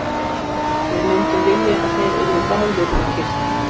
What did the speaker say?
Við myndum vilja að þeir yrðu báðir um kyrrt.